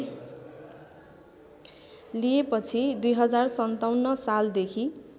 लिएपछि २०५७ सालदेखि